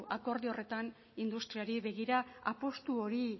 akordio horretan industriari begira apustu hori